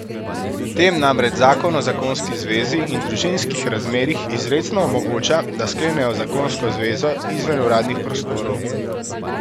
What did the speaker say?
Tem namreč zakon o zakonski zvezi in družinskih razmerjih izrecno omogoča, da sklenejo zakonsko zvezo izven uradnih prostorov.